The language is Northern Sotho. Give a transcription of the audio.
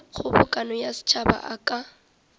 kgobokano ya setšhaba a ka